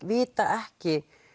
vita ekki